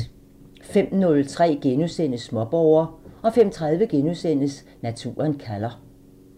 05:03: Småborger * 05:30: Naturen kalder *